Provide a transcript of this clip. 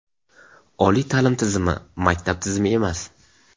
Oliy ta’lim tizimi – maktab tizimi emas.